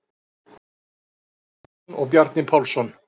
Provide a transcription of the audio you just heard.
Eggert Ólafsson og Bjarni Pálsson.